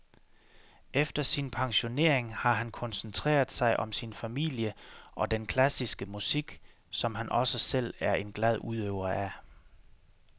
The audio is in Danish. Efter sin pensionering har han koncentreret sig om sin familie og den klassiske musik, som han også selv er en glad udøver af.